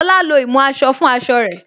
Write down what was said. Lóla lo ìmú aṣọ fún aṣọ rẹ̀